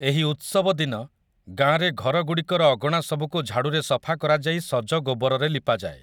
ଏହି ଉତ୍ସବ ଦିନ, ଗାଁରେ ଘରଗୁଡ଼ିକର ଅଗଣା ସବୁକୁ ଝାଡ଼ୁରେ ସଫା କରାଯାଇ ସଜ ଗୋବରରେ ଲିପାଯାଏ ।